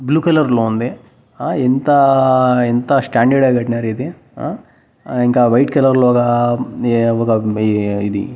Blue colour లో ఉంది ఆ ఎంత ఎంత స్టాండర్డ్ గా కట్నారు ఇది ఆ ఇంకా వైట్ కలర్ లో ఒక ఈ ఒక ఇది.